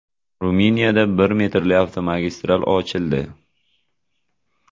Ruminiyada bir metrli avtomagistral ochildi.